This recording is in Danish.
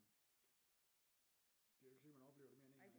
Det er jo ikke sikkert man oplever det mere end en gang